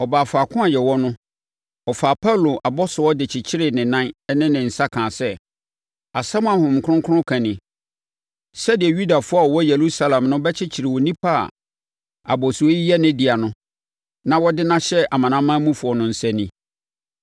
Ɔbaa faako a yɛwɔ no, ɔfaa Paulo abɔsoɔ de kyekyeree ne nan ne ne nsa kaa sɛ, “Asɛm a Honhom Kronkron ka ni, ‘Sɛdeɛ Yudafoɔ a wɔwɔ Yerusalem no bɛkyekyere onipa a abɔsoɔ yi yɛ ne dea no na wɔde no ahyɛ amanamanmufoɔ no nsa ni!’ ”